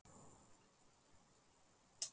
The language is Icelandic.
Hér eru átta flottar blokkir.